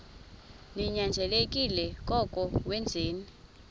ninyanzelekile koko wenzeni